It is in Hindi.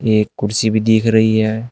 एक कुर्सी भी दिख रही है।